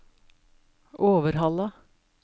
Overhalla